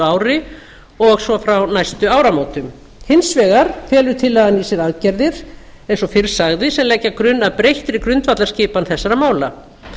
ári og svo frá næstu áramótum hins vegar felur tillagan í sér aðgerðir eins og fyrr sagði sem leggja grunn að breyttir grundvallarskipan þessara mála